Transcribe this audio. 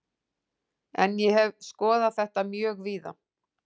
En ég hef skoðað þetta mjög víða.